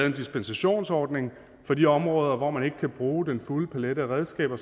en dispensationsordning for de områder hvor man ikke kan bruge den fulde palet af redskaber